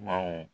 Maaw